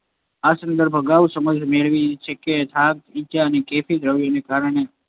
આ સંદર્ભમાં અગાઉ સમજ મેળવી જ છે કે, થાક, ઇજા અને કેફી દ્રવ્યને કારણે